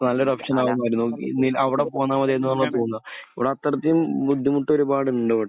ഇപ്പോൾ നല്ലൊരു ഓപ്ഷൻ അവിടെ പോകുന്ന പോലെ ഇവിടെ അത്രയ്ക്കും ബുദ്ധിമുട്ട് ഒരുപാടുണ്ട് ഇവിടെ.